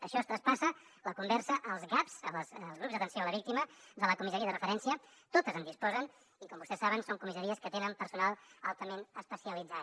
això es traspassa la conversa als gav els grups d’atenció a la víctima de la comissaria de referència totes en disposen i com vostès saben són comissaries que tenen personal altament especialitzat